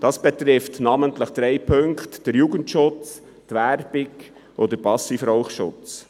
Das betrifft namentlich drei Punkte, nämlich den Jugendschutz, die Werbung und den Passivraucherschutz.